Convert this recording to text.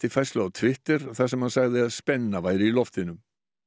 færslu á Twitter þar sem hann sagði spennu í loftinu